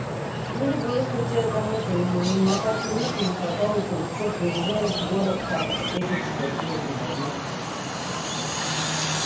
ну либо если у тебя там это не на карте нету не хватает или что приезжай в город там встретимся закинем и возьмём